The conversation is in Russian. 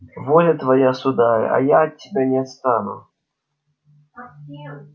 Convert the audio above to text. воля твоя сударь а я от тебя не отстану